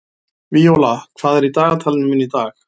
Víóla, hvað er í dagatalinu mínu í dag?